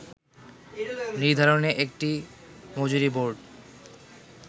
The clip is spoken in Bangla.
নির্ধারণে একটি মজুরিবোর্ড